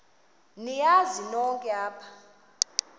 niyazi nonk apha